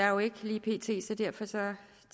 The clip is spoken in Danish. jo ikke lige pt så derfor tager